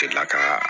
Delila ka